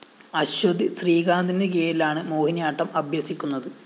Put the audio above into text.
അശ്വതി ശ്രീകാന്തിനുകീഴിലാണ് മോഹിനിയാട്ടം അഭ്യസിക്കുന്നത്